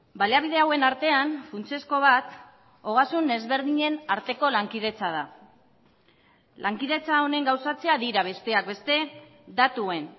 baliabide hauen artean funtsezko bat ogasun ezberdinen arteko lankidetza da lankidetza honen gauzatzea dira besteak beste datuen